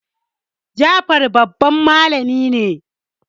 Jafar babban malamin ne